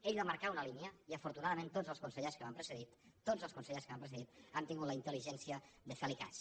ell va marcar una línia i afortunadament tots els consellers que m’han precedit tots els consellers que m’han precedit han tingut la intel·ligència de fer li cas